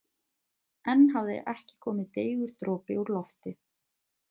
Enn hafði ekki komið deigur dropi úr lofti.